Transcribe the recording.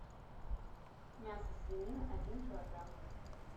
мясо свинина один килограмм